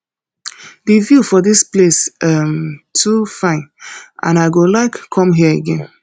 the view for dis place um too fine and i go like come here again